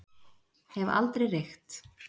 Hef aldrei reykt.